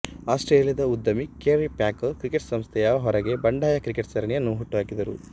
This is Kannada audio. ಆಸ್ಟ್ರೇಲಿಯದ ಉದ್ಯಮಿ ಕೆರ್ರಿ ಪ್ಯಾಕರ್ ಕ್ರಿಕೆಟ್ ಸಂಸ್ಥೆಯ ಹೊರಗೆ ಬಂಡಾಯ ಕ್ರಿಕೆಟ್ ಸರಣಿಯನ್ನು ಹುಟ್ಟು ಹಾಕಿದರು